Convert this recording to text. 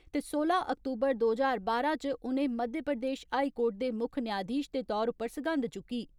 High court दे मुक्ख न्यायधीश दे तौर उप्पर सगंध चुक्की।